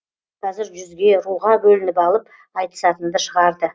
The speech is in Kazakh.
қазір жүзге руға бөлініп алып айтысатынды шығарды